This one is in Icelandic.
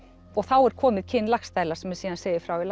þá er komið kyn Laxdæla sem síðan segir frá í